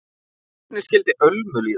Hvernig skyldi Ölmu líða?